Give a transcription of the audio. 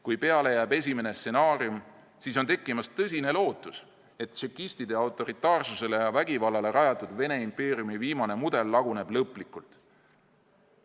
Kui peale jääb esimene stsenaarium, siis on tekkimas tõsine lootus, et tšekistide autoritaarsusele ja vägivallale rajatud Vene impeeriumi viimane mudel laguneb lõplikult.